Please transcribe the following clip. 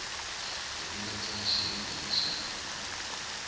hi ku landza xiyenge xa